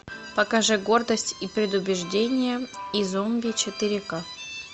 покажи гордость и предубеждение и зомби четыре к